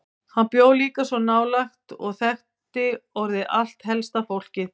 Hann bjó líka svo nálægt og þekkti orðið allt helsta fólkið.